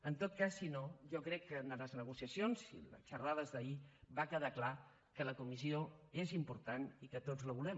en tot cas si no jo crec que en les negociacions i en les xerrades d’ahir va quedar clar que la comissió és important i que tots la volem